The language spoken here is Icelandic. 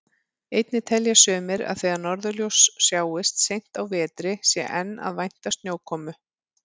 Einnig telja sumir að þegar norðurljós sjáist seint á vetri sé enn að vænta snjókomu.